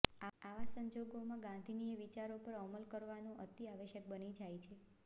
આવા સંજોગોમાં ગાંધીયન વિચારો પર અમલ કરવું અતિ આવશ્યક બની જાય છે